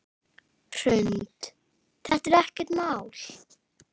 Hrund: Er þetta ekkert mál?